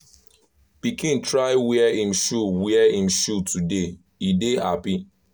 pikin try wear him shoe wear him shoe today he dey happy